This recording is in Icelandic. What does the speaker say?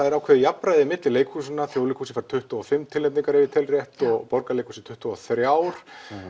er ákveðið jafnræði milli leikhúsanna Þjóðleikhúsið fær tuttugu og fimm tilnefningar ef ég tel rétt og Borgarleikhúsið tuttugu og þrjú